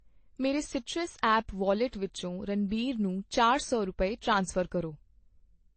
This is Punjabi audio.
ਮੇਰੇ ਸੀਟਰਸ ਐਪ ਵੌਲੇਟ ਵਿੱਚੋ ਰਣਬੀਰ ਨੂੰ ਚਾਰ ਸੌ ਰੁਪਏ, ਟ੍ਰਾਂਸਫਰ ਕਰੋ